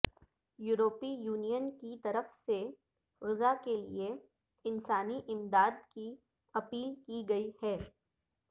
یورپی یونین کی طرف سے غزہ کے لئے انسانی امداد کی اپیل کی گئی ہے